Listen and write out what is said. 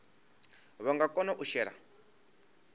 vha nga kona u shela